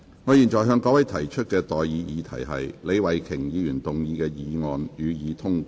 我現在向各位提出的待議議題是：李慧琼議員動議的議案，予以通過。